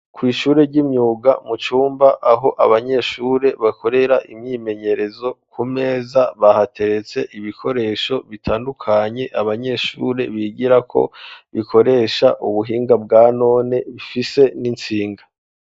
Kwishure ry'imyuga mu cyyumba aho abanyeshure bakorera imyimenyerezo ku meza bahateretse ibikoresho bitandukanye abanyeshure bigira ko bikoresha ubuhinga bwanone bifise n'itsinga.